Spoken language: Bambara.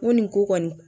N ko nin ko kɔni